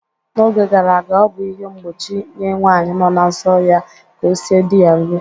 N'oge gara aga, o bụ ihe mgbochi nye nwanyị no na nsọ ya ka o sie di ya nri